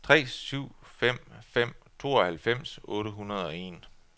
tre syv fem fem tooghalvfems otte hundrede og en